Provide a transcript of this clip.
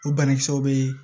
O banakisɛw bɛ yen